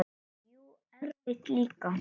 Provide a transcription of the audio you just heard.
Og jú, erfitt líka.